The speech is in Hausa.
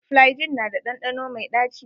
Flygin na da ɗanɗano mai ɗaci.